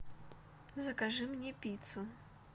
закажи мне пиццу